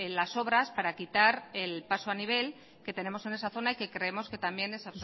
las obras para quitar el paso a nivel en esa zona y que creemos que también es